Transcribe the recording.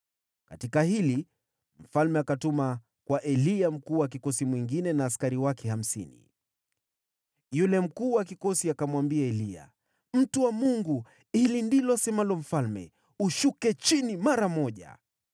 Aliposikia hili, mfalme akatuma kwa Eliya mkuu wa kikosi mwingine na askari wake hamsini. Yule mkuu wa kikosi akamwambia Eliya, “Mtu wa Mungu, hili ndilo asemalo mfalme, ‘Shuka chini mara moja!’ ”